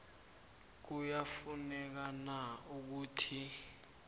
kuyafuneka na ukuthi